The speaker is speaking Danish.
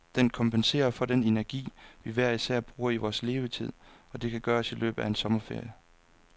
Det kompenserer for den energi, vi hver især bruger i vores levetid, og det kan gøres i løbet af en sommerferie.